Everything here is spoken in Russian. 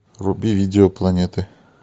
вруби видео планеты